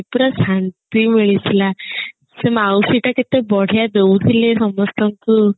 ଆୟର ଆସନ୍ତି ମିଳି ଥିଲା ସେ ମାଉସୀ ଟା କେତେ ବଢିଆ ଦଉଥିଲେ ସମସ୍ତଙ୍କୁ